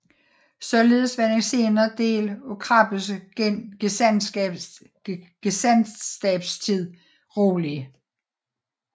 Således var den senere del af Krabbes gesandtskabstid rolig